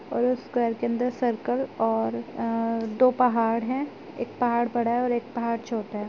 और उस स्क्वायर के अंदर सर्कल और आ दो पहाड़ हैं एक पहाड़ बड़ा है और एक पहाड़ छोटा है।